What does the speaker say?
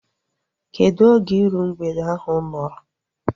Kedụ oge iru mgbede ahu nọrọ?